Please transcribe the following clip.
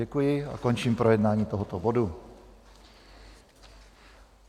Děkuji a končím projednání tohoto bodu.